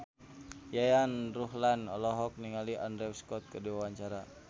Yayan Ruhlan olohok ningali Andrew Scott keur diwawancara